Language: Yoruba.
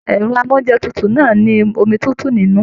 Ẹrọ amounjẹ tútù náà ni omi tútù nínú.